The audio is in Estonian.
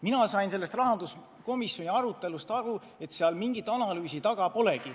Mina sain rahanduskomisjoni arutelust aru, et seal mingit analüüsi taga polegi.